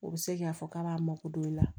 U bɛ se k'a fɔ k'a b'a mako don i la